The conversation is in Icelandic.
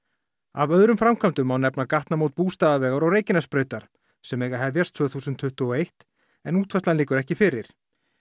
af öðrum framkvæmdum má nefna gatnamót Bústaðavegar og Reykjanesbrautar sem eiga að hefjast tvö þúsund tuttugu og eitt en útfærslan liggur ekki fyrir